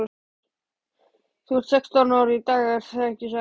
Þú ert sextán ára í dag ekki satt?